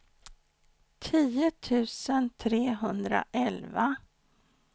tio tusen trehundraelva